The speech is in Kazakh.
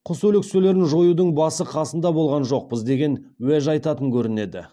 құс өлекселерін жоюдың басы қасында болған жоқпыз деген уәж айтатын көрінеді